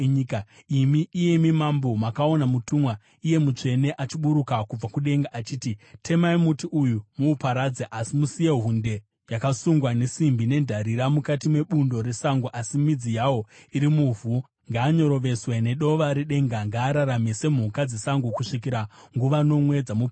“Imi, iyemi mambo, makaona mutumwa, iye mutsvene, achiburuka kubva kudenga achiti, ‘Temai muti uyo muuparadze, asi musiye hunde, yakasungwa nesimbi nendarira, mukati mebundo resango, asi midzi yawo iri muvhu. Ngaanyoroveswe nedova redenga; ngaararame semhuka dzesango, kusvikira nguva nomwe dzamuperera.’